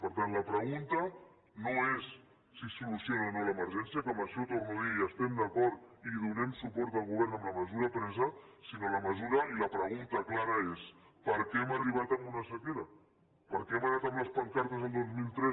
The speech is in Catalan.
per tant la pregunta no és si es soluciona o no l’emergència que en això ho torno a dir hi estem d’acord i donem suport al govern en la mesura presa sinó que la pregunta clara és per què hem arribat a una sequera perquè hem anat amb les pancartes el dos mil tres